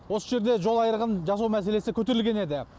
осы жерде жол айрығын жасау мәселесі көтерілген еді